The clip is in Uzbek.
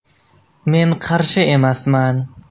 Men qarshi emasman.